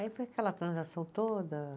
Aí foi aquela transação toda.